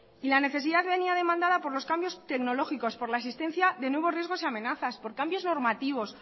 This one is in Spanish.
y la necesidad venía demanda por los cambios tecnológicos por la existencia de nuevos riesgos y amenazas por cambios normativos